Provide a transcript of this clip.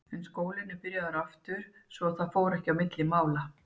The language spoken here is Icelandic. En skólinn var byrjaður aftur svo að það fór ekki á milli mála.